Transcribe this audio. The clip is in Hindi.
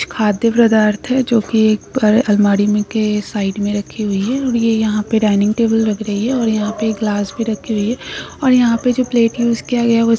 खाद्य पदार्थ है जो की एक पर अलमारी में के साइड में रखी हुई है और यह यहां पर डाइनिंग टेबल लग रही है और यहां पर गिलास भी रखी हुई है और यहां पर जो प्लेट यूज़ किया गया वह--